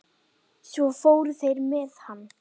Svo fóru þeir með hann.